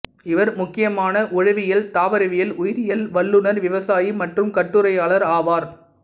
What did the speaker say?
இவர் முக்கியமான உழவியல் தாவரவியல் உயிரியல் வல்லுநர் விவசாயி மற்றும் கட்டுரையாளர் ஆவார்